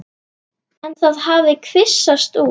En það hafi kvisast út.